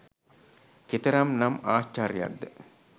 කෙතරම් නම් ආශ්චර්යයක් ද?